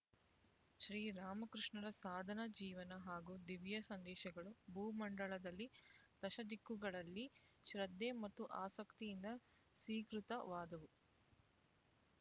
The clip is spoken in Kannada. ಶ್ರೀರಾಮಕೃಷ್ಣರ ಸಾಧನಾ ಜೀವನ ಹಾಗೂ ದಿವ್ಯ ಸಂದೇಶಗಳು ಭೂಮಂಡಲದಲ್ಲಿ ದಶದಿಕ್ಕುಗಳಲ್ಲಿ ಶ್ರದ್ಧೆ ಮತ್ತು ಆಸಕ್ತಿಯಿಂದ ಸ್ವೀಕೃತವಾದವು